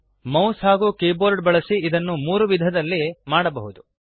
mouse ಹಾಗೂ keyboard ಬಳಸಿ ಇದನ್ನು ಮೂರು ವಿಧಗಳಲ್ಲಿ ಮಾಡಬಹುದು